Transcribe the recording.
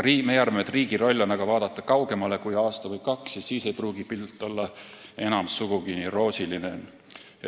Meie arvame, et riigi roll on aga vaadata kaugemale kui aasta või kaks, sest siis ei pruugi pilt olla enam sugugi nii roosiline.